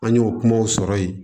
An y'o kumaw sɔrɔ yen